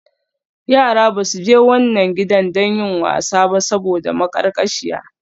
Yara ba su je wannan gidan don yin wasa ba saboda maƙarƙashiya.